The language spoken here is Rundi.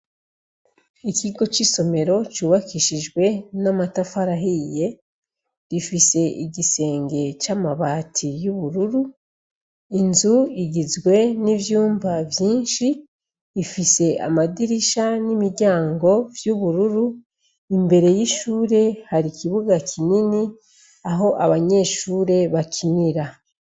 Ikigo c'isomero cubakishijwe n'amatafari ahiye gifise igisenge c'amabati y'ubururu. Inzu igizwe n'ivyumba vyinshi bifise amadirisha n'imiryango vy'ubururu, imbere y'ishure hari ikibuga kinini aho abanyeshure bakira.